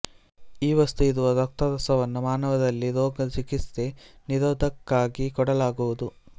ಈ ವಸ್ತು ಇರುವ ರಕ್ತರಸವನ್ನು ಮಾನವರಲ್ಲಿ ರೋಗ ಚಿಕಿತ್ಸೆ ನಿರೋಧಕ್ಕಾಗಿ ಕೊಡಲಾಗುವುದು